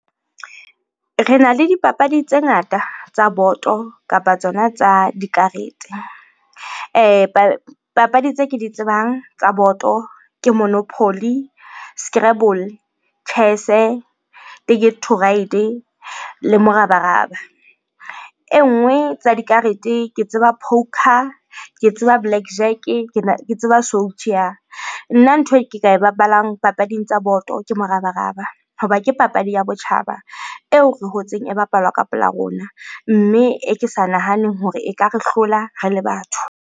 Rena le dipapadi tse ngata tsa boto kapa tsona tsa dikarete. Papadi tse ke di tsebang tsa boto ke monopoly, scrabble, chess-e, le morabaraba. E nngwe tsa dikarete ke tseba poker, ke tseba black jack-e, ke tseba . Nna ntho e ke ka e bapalang papading tsa boto ke morabaraba hoba ke papadi ya botjhaba eo re hotseng e bapalwa ka pela rona, mme e ke sa nahaneng hore e ka re hlola re le batho.